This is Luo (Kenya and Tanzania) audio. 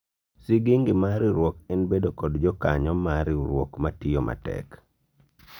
sigingi mar riwruok en bedo kod jokanyo mar riwruok matiyo matek